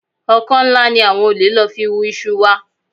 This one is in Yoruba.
Ọkọ́ ńlá ni àwọn olè lò fi hú iṣu wa